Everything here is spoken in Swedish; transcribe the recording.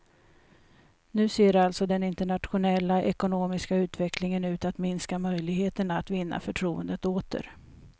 Nu ser alltså den internationella ekonomiska utvecklingen ut att minska möjligheterna att vinna förtroendet åter.